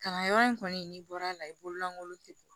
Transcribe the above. Kalanyɔrɔ in kɔni n'i bɔra a la i bololankolon tɛ bɔ